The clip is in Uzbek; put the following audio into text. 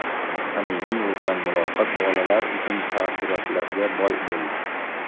Samimiy o‘tgan muloqot bolalar uchun taassurotlarga boy bo‘ldi.